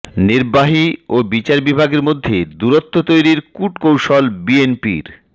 নির্বাহী ও বিচার বিভাগের মধ্যে দূরত্ব তৈরির কূটকৌশল বিএনপির